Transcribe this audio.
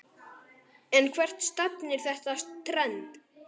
En hvert stefnir þetta trend?